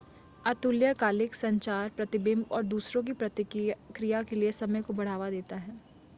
अतुल्यकालिक संचार प्रतिबिंब और दूसरों की प्रतिक्रिया के लिए समय को बढ़ावा देता है